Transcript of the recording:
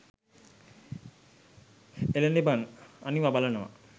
එලනෙ බන් අනිවා බලනව